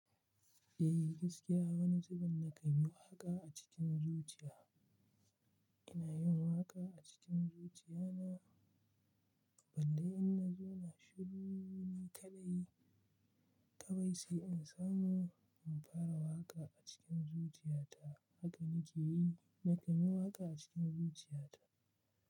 Eh gaskiya wani zubin na kan yi waƙa a cikin zuciya. Ina yin waƙa a cikin zuciya na balle in na zauna shiru ni kaɗai kawai sai in samu in fara waƙa a cikin zuciya ta haka nake yi. Na kan yi waƙa a cikin zuciya ta.